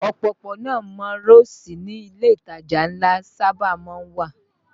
Òpópónà márosẹ̀ ni ilé ìtajà ńlá sábà má ń wà